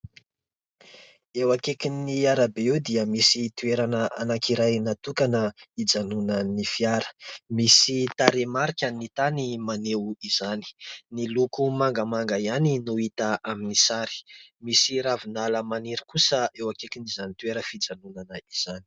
Eo akaikin'ny arabe eo dia misy toerana anankiray natokana ijanonan'ny fiara, misy tarehimarika ny tany maneho izany. Ny loko mangamanga ihany no hita amin'ny sary. Misy ravinala maniry kosa eo akaikin'izany toerana fijanonana izany.